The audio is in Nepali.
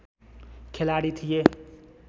खेलाडी थिए